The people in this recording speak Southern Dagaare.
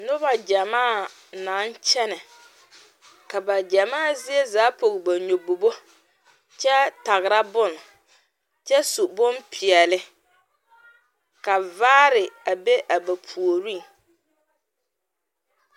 Noba gyɛmaa naŋ kyɛnɛ ka ba gyɛmaa zie zaa pɔge ba nyɔbobo kyɛ tagra bonne kyɛ su bonpeɛlle ka vaare a be a ba puoriŋ.